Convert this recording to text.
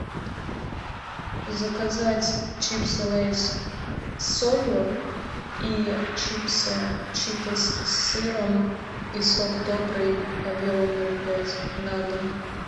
заказать чипсы лейс с солью и чипсы читос с сыром и сок добрый объемом ноль пять на дом